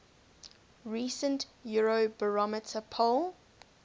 recent eurobarometer poll